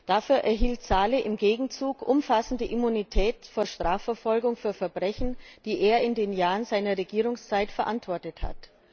Dafür erhielt Salih im Gegenzeug umfassende Immunität vor Strafverfolgung für Verbrechen, die er in den Jahren seiner Regierungszeit verantwortet hat.